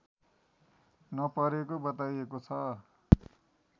नपरेको बताइएको छ